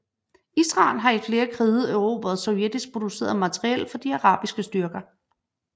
Israel har i flere krige erobret sovjetisk produceret materiel fra de arabiske styrker